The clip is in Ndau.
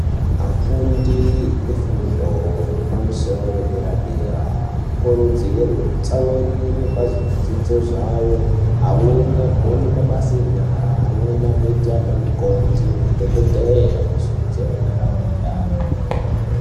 Afundi efundo yepamusoro yedera-dera vanokurudzirwe kutsamwirire pazvidzidzo zvavo. Amweni agone mabasa enyara, amweni agoite anamukoti ,madhogodheye agosimudzire ntaraunda.